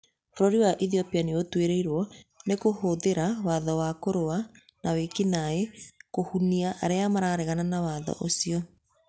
Bũrũri wa Ethiopia nĩ ũtuĩrĩirio nĩ kũhũthĩra watho wa kũrũa nawĩki-naĩ kũhũnia arĩa mareganaga na watho ũcio.